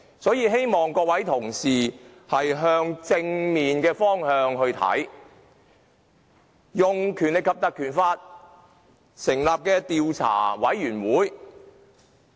所以，希望各位同事從正面的角度來看運用《條例》成立專責委員會的建議。